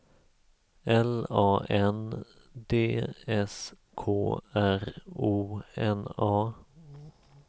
L A N D S K R O N A